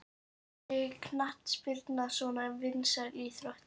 Af hverju er knattspyrna svona vinsæl íþrótt?